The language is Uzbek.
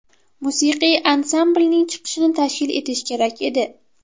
Musiqiy ansamblning chiqishini tashkil etish kerak edi.